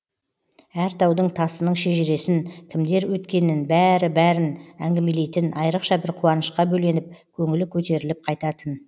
әр таудың тасының шежіресін кімдер өткенін бәрі бәрін әңгімелейтін айрықша бір қуанышқа бөленіп көңілі көтеріліп қайтатын